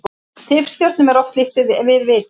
Tifstjörnum er oft líkt við vita.